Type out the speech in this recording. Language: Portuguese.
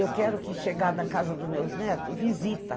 Eu quero que, chegada na casa dos meus netos, visita.